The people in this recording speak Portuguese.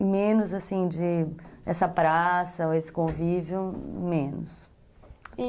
E menos, assim, dessa praça, esse convívio, menos. E